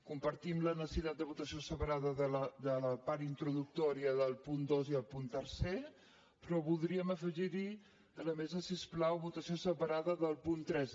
compartim la necessitat de votació separada de la part introductò·ria del punt dos i el punt tercer però voldríem afegir·hi a la mesa si us plau votació separada del punt tres